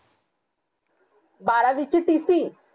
बारावीची tc